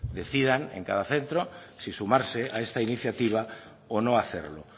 decidan en cada centro si sumarse a esta iniciativa o no hacerlo